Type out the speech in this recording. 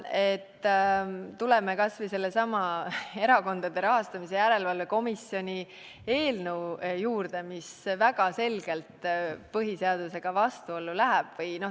Tuleme kas või sellesama Erakondade Rahastamise Järelevalve Komisjoni eelnõu juurde, mis väga selgelt põhiseadusega vastuollu läheb.